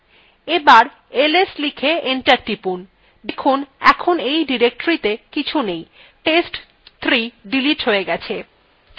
এবার ls লিখে enter টিপুন দেখুন এখন directoryত়ে কিছু now test3 ডিলিট হয়ে গেছে